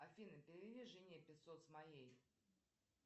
афина переведи жене пятьсот с моей